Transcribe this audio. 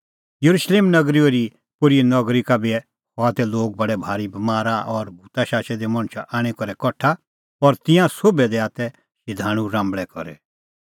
येरुशलेम नगरी ओरीपोरीए नगरी का बी हआ तै लोग बडै भारी बमारा और भूत शाचै दै मणछ आणी करै कठा और तिन्नां सोभी दैआ तै शधाणूं राम्बल़ै करी